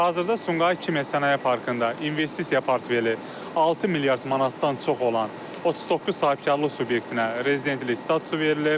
Hazırda Sumqayıt Kimya Sənaye Parkında investisiya portfeli 6 milyard manatdan çox olan 39 sahibkarlıq subyektinə rezidentlik statusu verilib.